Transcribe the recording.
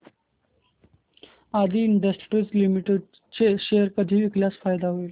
आदी industries limited चे share कधी विकल्यास फायदा होईल